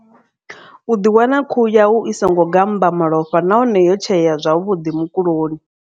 U ḓi wana khuhu yau i songo gammba malofha nahone yo tsheea zwavhuḓi mukuloni.